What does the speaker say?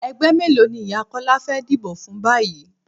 Ẹgbẹ́ mélòó ni ìyá Kọ́lá fẹ́ díbó fún báyìí?